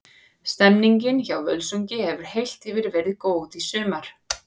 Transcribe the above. Stemmningin hjá Völsungi hefur heilt yfir verið góð í sumar.